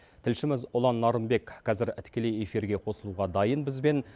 тілшіміз ұлан нарынбек қазір тікелей эфирге қосылуға дайын бізбен